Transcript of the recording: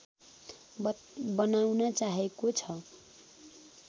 बनाउन चाहेको छ